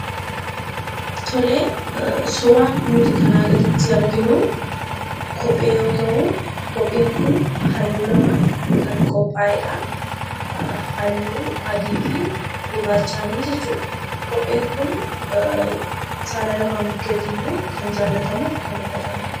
Tole, suuraan nuti kanaa gaditti arginu kophee yoo ta'u, kopheen kun halluu lamaan kan qopha'eedha. Halluu adii fi gurrachaan jechuudha. Kopheen kun saala laman bukkettiyyu kan jaallatamu fi kan uffatamudha.